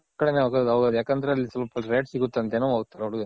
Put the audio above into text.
ಕಡೆನೇ ಹೋಗೋದು ಹೌದು ಯಾಕಂದ್ರೆ ಅಲ್ಲಿ ಸ್ವಲ್ಪ Rate ಸಿಗುತ್ತೆ ಅಂತ ಏನೋ ಹೋಗ್ತಾರೆ